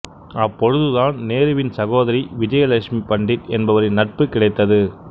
அப்பொழுது தான் நேருவின் சகோதரி விஜயலட்சுமி பண்டிட் என்பவரின் நட்பு கிடைத்தது